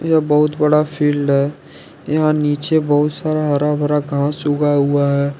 यह बहुत बड़ा फील्ड है यहां नीचे बहुत सारा हरा भरा घास उगा हुआ है।